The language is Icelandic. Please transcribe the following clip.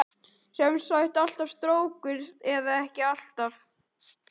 Sem sagt alltaf strókur eða ekki alltaf?